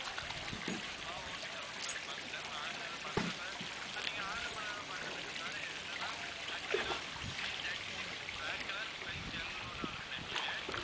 ஆஹ் okay sir okay sir பாத்துட்டேன் உங்க order உ தான் பாத்துட்டு இருக்கேன் sir நீங்க order பண்ணத தான் பாத்திட்டு இருக்கேன் என்னன்னா tuxedo C thirty-six black colur size L னு order பண்ணிருக்கீங்க